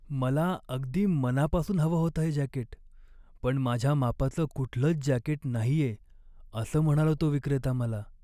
मला अगदी मनापासून हवं होतं हे जॅकेट, पण माझ्या मापाचं कुठलंच जॅकेट नाहीये असं म्हणाला तो विक्रेता मला.